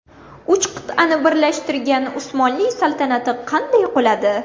Uch qit’ani birlashtirgan Usmonli saltanati qanday quladi?.